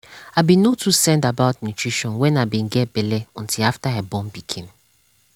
i be no too send about nutrition when i be get belle until after i born pikin.